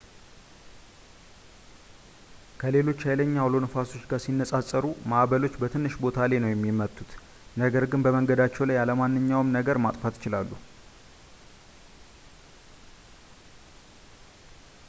ከሌሎች ሃይለኛ አውሎ ነፋሶች ጋር ሲነጻጸሩ ማዕበሎች በትንሽ ቦታ ላይ ነው የሚመቱት ነገር ግን በመንገዳቸው ላይ ያለ ማንኛውንም ነገር ማጥፋት ይችላሉ